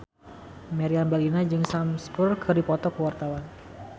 Meriam Bellina jeung Sam Spruell keur dipoto ku wartawan